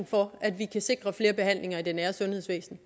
for at vi kan sikre flere behandlinger i det nære sundhedsvæsen